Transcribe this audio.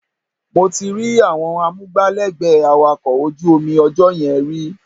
Mo ti rí àwọn amúgbálẹ́gbẹ̀ẹ́ awakọ̀ ojú omi ọjọ́ yẹn rí